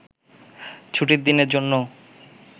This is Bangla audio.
ছুটির দিনের জন্যও